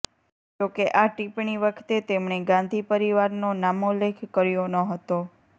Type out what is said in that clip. જો કે આ ટીપ્પણી વખતે તેમણે ગાંધી પરિવારનો નામોલ્લેખ કર્યો ન હતો